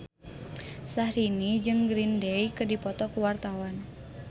Syahrini jeung Green Day keur dipoto ku wartawan